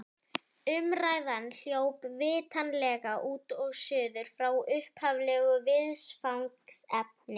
Umræðan hljóp vitanlega út og suður frá upphaflegu viðfangsefni.